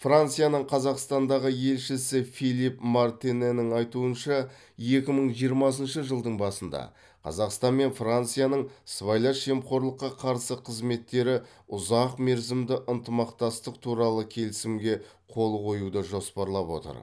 францияның қазақстандағы елшісі филипп мартинэнің айтуынша екі мың жиырмасыншы жылдың басында қазақстан мен францияның сыбайлас жемқорлыққа қарсы қызметтері ұзақмерзімді ынтымақтастық туралы келісімге қол қоюды жоспарлап отыр